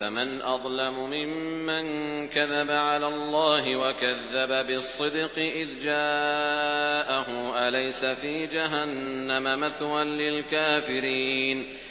۞ فَمَنْ أَظْلَمُ مِمَّن كَذَبَ عَلَى اللَّهِ وَكَذَّبَ بِالصِّدْقِ إِذْ جَاءَهُ ۚ أَلَيْسَ فِي جَهَنَّمَ مَثْوًى لِّلْكَافِرِينَ